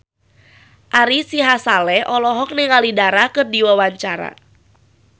Ari Sihasale olohok ningali Dara keur diwawancara